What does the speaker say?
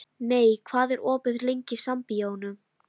Mey, hvað er opið lengi í Sambíóunum?